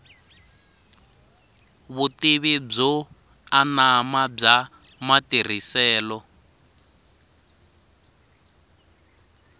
vutivi byo anama bya matirhiselo